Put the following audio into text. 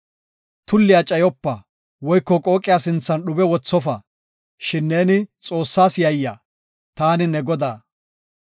“Tulliya cayopa; woyko qooqiya sinthan dhube wothofa, shin neeni Xoossas yayya. Taani ne Godaa.